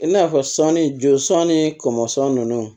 I n'a fɔ sɔ ni joli sanni kɔngɔ nunnu